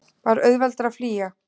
Var auðveldara að flýja?